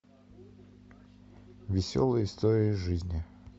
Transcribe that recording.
веселые истории из жизни